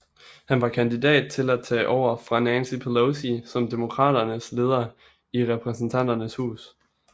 Han var kandidat til at tage over fra Nancy Pelosi som Demokraternes leder i Repræsentanternes hus